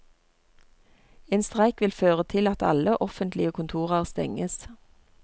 En streik vil føre til at alle offentlige kontorer stenges.